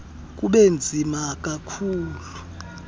kube nzima kakhulu